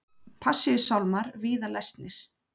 Passíusálmar víða lesnir